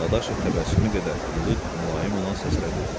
Dadaşov təbəssümü qədər ilıq, mülayim olan səslə dedi: